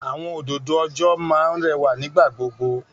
Àwọn òdòdó ọjọ́ máa ń rẹwà nígbà gbogbo.